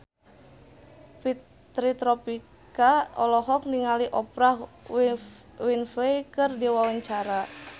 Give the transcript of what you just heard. Fitri Tropika olohok ningali Oprah Winfrey keur diwawancara